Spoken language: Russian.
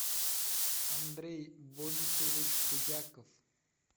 андрей борисович худяков